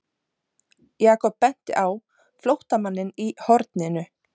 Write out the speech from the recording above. Jakob benti á flóttamanninn í horninu.